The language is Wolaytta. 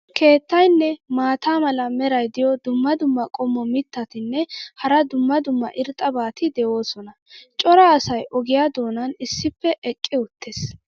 keettaynne maata mala meray diyo dumma dumma qommo mitattinne hara dumma dumma irxxabati de'oosona. cora asay ogiyaa doonan issippe eqqi uttiis.